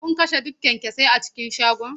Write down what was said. Kun kashe duk kyanksosai a cikin shagon?